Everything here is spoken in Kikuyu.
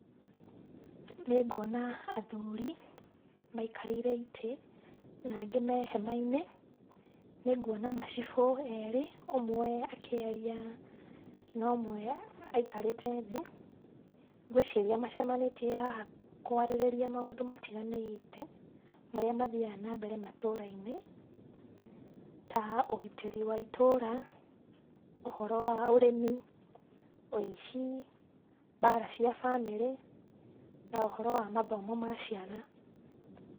Nĩngwona athuri maikarĩire itĩ na angĩ me hema-inĩ, nĩ ngwona macibũ erĩ ũmwe akĩaria na ũmwe aikarĩte thĩ. Ngũĩciria macemanĩtie haha kwarĩrĩria maũndũ matiganĩte marĩa mathiaga na mbere matũra-inĩ ta ũgitĩri wa itũra, ũhoro wa ũrĩmi, ũici, mbara cia bamĩrĩ na ũhoro wa mathomo ma ciana.